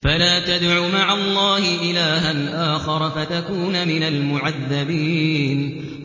فَلَا تَدْعُ مَعَ اللَّهِ إِلَٰهًا آخَرَ فَتَكُونَ مِنَ الْمُعَذَّبِينَ